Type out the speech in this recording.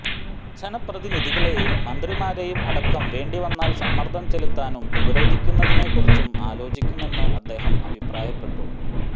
ജനപ്രതിനിധികളെയും മന്ത്രിമാരെയും അടക്കം വേണ്ടി വന്നാൽ സമ്മർദം ചെലുത്താനും ഉപരോധിക്കുന്നതിനെ കുറിച്ചും ആലോചിക്കുമെന്ന് അദ്ദേഹം അഭിപ്രായപ്പെട്ടു